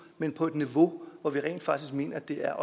men på et niveau hvor vi rent faktisk mener at det er